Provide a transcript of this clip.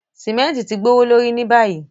Símẹ̀ntì ti gbowolorí ní bayí.